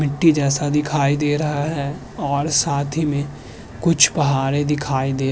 मिट्टी जैसा दिखाई दे रहा है और साथ ही में कुछ पहाड़ें दिखाई दे --